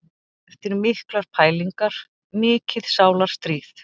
Eftir miklar pælingar, mikið sálarstríð.